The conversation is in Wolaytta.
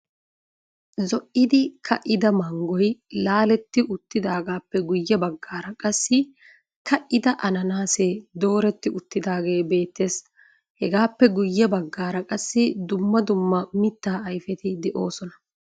Zo"idi ka"ida manggoy laaletti uttidaagaappe guyye baggaara qassi ka"ida ananaasee dooretti uttidaagee beettes. Hegaappe guyye baggaara qassi dumma dumma mitta ayfeti de'oosona.